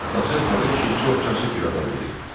Atası Tağı kişi çox kasıb bir adam idi.